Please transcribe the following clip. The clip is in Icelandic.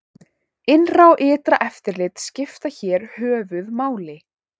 Innra og ytra eftirlit skiptir hér höfuð máli.